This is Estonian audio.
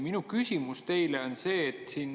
Minu küsimus teile on see.